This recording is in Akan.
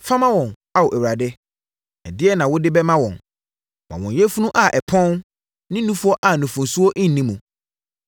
Fa ma wɔn, Ao, Awurade, ɛdeɛn na wode bɛma wɔn? Ma wɔn yafunu a ɛpɔn ne nufoɔ a nufosuo nni muo.